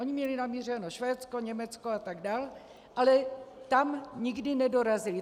Oni měli namířeno Švédsko, Německo a tak dál, ale tam nikdy nedorazili.